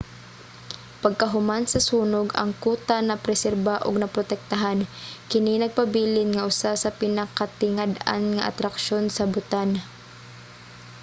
pagkahuman sa sunog ang kuta napreserba ug naprotektahan kini nagpabilin nga usa sa pinakatingad-an nga atraksyon sa bhutan